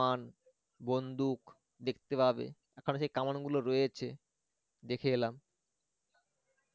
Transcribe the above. বন্দুক দেখতে পাবে এখনো সেই কামানগুলো রয়েছে দেখে এলাম